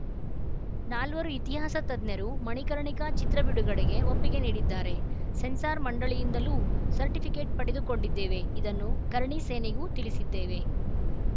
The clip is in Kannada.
ನಾಲ್ವರು ಇತಿಹಾಸ ತಜ್ಞರು ಮಣಿಕರ್ಣಿಕಾ ಚಿತ್ರ ಬಿಡುಗಡೆಗೆ ಒಪ್ಪಿಗೆ ನೀಡಿದ್ದಾರೆ ಸೆನ್ಸಾರ್‌ ಮಂಡಳಿಯಿಂದಲೂ ಸರ್ಟಿಫಿಕೇಟ್‌ ಪಡೆದುಕೊಂಡಿದ್ದೇವೆ ಇದನ್ನು ಕರ್ಣಿ ಸೇನೆಗೂ ತಿಳಿಸಿದ್ದೇವೆ